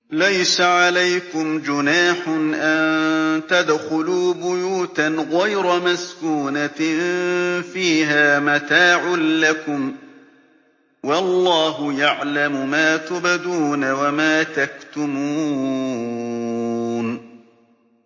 لَّيْسَ عَلَيْكُمْ جُنَاحٌ أَن تَدْخُلُوا بُيُوتًا غَيْرَ مَسْكُونَةٍ فِيهَا مَتَاعٌ لَّكُمْ ۚ وَاللَّهُ يَعْلَمُ مَا تُبْدُونَ وَمَا تَكْتُمُونَ